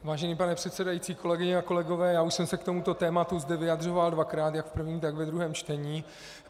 Vážený pane předsedající, kolegyně a kolegové, já už jsem se k tomuto tématu zde vyjadřoval dvakrát - jak v prvním, tak ve druhém čtení.